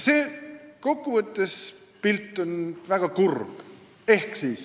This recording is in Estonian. Kokku võttes on see pilt väga kurb.